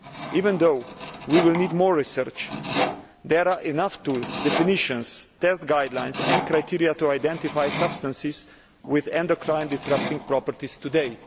Even though we will need more research, there are enough tools, definitions, test guidelines and criteria to identify substances with endocrine disrupting properties today.